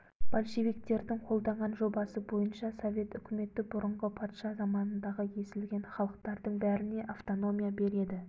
большевиктердің қолданған жобасы бойынша совет үкіметі бұрынғы патша заманындағы езілген халықтардың бәріне автономия береді